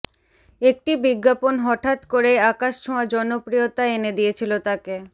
একটি বিজ্ঞাপন হঠাৎ করেই আকাশছোঁয়া জনপ্রিয়তা এনে দিয়েছিল তাকে